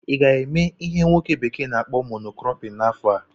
ị ga-eme ihe nwoke bekee na-akpọ "mono cropping" n'afọ a?